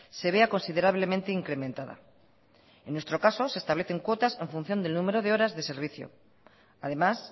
se vea considerablemente incrementada en nuestro caso se establecen cuotas en función del número de horas de servicio además